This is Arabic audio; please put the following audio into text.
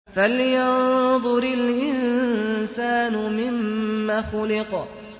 فَلْيَنظُرِ الْإِنسَانُ مِمَّ خُلِقَ